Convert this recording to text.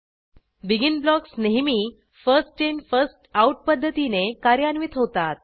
begin blocks नेहमी first in first out पध्दतीने कार्यान्वित होतात